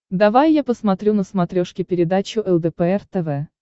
давай я посмотрю на смотрешке передачу лдпр тв